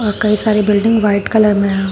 कई सारे building white colour में है।